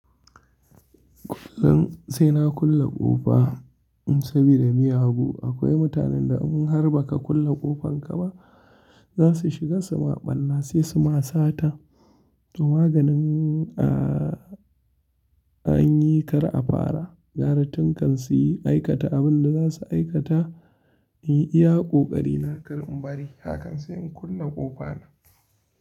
Kullum sai na kulle ƙofa sabida miyagu. Akwai mutanen da in har ba ka kulle ƙofan ka ba za su shiga su maɓanna sai su ma sata. To maganin a, an yi kar a fara. Garitun kan su yi aikata abin da za su aikata. In iya ƙoƙari na kar in bari hakan sai in kulle ƙofa na.